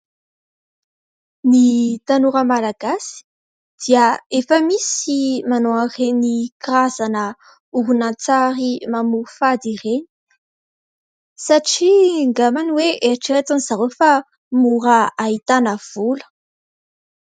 Ny tanora malagasy dia efa misy manao an'ireny karazana horonan-tsary mamoafady ireny satria ngambany hoe eritreretin'izy ireo fa mora ahitana vola.